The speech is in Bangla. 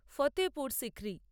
ফতেহপুর সিক্রি